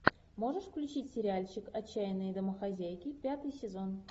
можешь включить сериальчик отчаянные домохозяйки пятый сезон